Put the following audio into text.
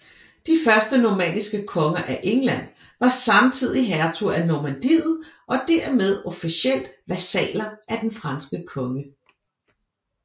De første normanniske konger af England var samtidig hertuger af Normandiet og dermed officielt vasaller af den franske konge